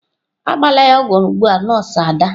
Agbala ya ogwu ugbu a nọọsụ Ada!